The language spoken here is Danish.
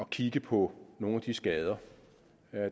kigge på nogle af de skader